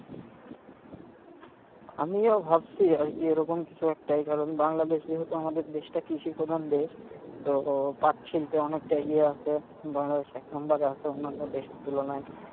আমিও ভাবছি আরকি ওরকম কিছু একটাই কারণ বাংলাদেশ যেহেতু আমাদের দেশটা কৃষি প্রধান দেশ তো পাট শিল্পে অনেকটা এগিয়ে আছে, বাংলাদেশ এক number এ আছে অন্যান্য দেশের তুলনায়,